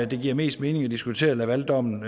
det giver mest mening at diskutere lavaldommen